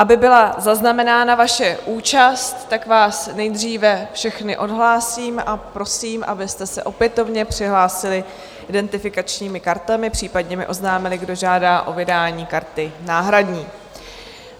Aby byla zaznamenána vaše účast, tak vás nejdříve všechny odhlásím a prosím, abyste se opětovně přihlásili identifikačními kartami, případně mi oznámili, kdo žádá o vydání karty náhradní.